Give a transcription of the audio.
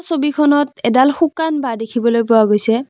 ছবিখনত এডাল শুকান বাঁহ দেখিবলৈ পোৱা গৈছে।